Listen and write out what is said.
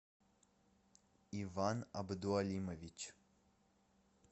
иван абдуалимович